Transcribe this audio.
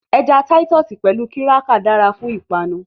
Ẹja Táítọ́ọ̀sì pẹ̀lú kírákà dára fún ìpanu